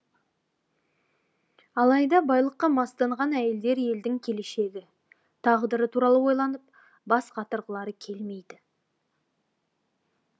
алайда байлыққа мастанған әйелдер елдің келешегі тағдыры туралы ойланып бас қатырғылары келмейді